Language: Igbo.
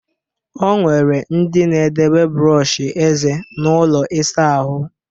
O nwere ndị na-edebe brọọshị eze n'ụlọ ịsa ahụ